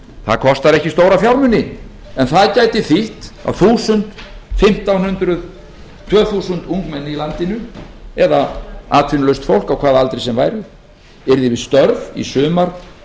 það kostar ekki stóra fjármuni en það gæti þýtt að þúsund fimmtán hundruð tvö þúsund ungmenni í landinu eða atvinnulaust fólk á hvaða aldri sem væri yrði við störf í sumar